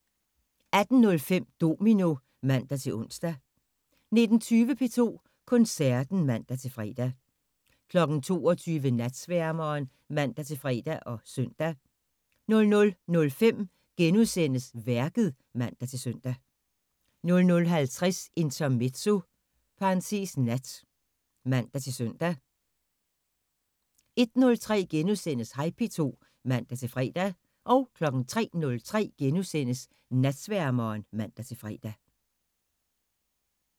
18:05: Domino (man-ons) 19:20: P2 Koncerten (man-fre) 22:00: Natsværmeren (man-fre og søn) 00:05: Værket *(man-søn) 00:50: Intermezzo (nat) (man-søn) 01:03: Hej P2 *(man-fre) 03:03: Natsværmeren *(man-fre)